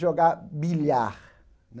jogar bilhar.